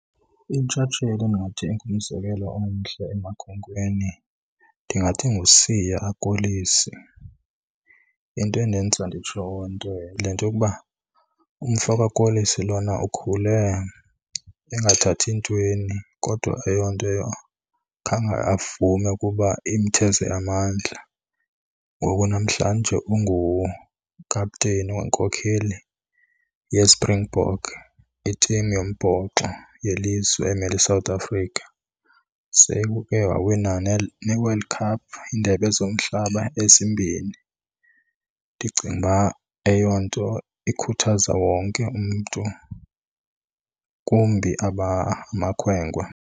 Intsatsheli endingathi ngumzekelo omhle emakhwenkweni ndingathi nguSiya Kolisi. Into endenza nditsho oo nto yile nto yokuba umfo kaKolisi lona ukhule engathathi ntweni kodwa eyo nto khange avume ukuba imtheze amandla. Ngoku namhlanje ungukapteni wenkokheli yeSpringbok, i-team yombhoxo yelizwe emele iSouth Africa. Sekuke wawina neeWorld Cup, iiNdebe zomHlaba, ezimbini. Ndicinga uba eyo nto ikhuthaza wonke umntu, kumbi abamakhwenkwe.